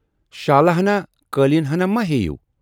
یِوشالہٕ ہنا، قٲلین ہنا ما ہے یِو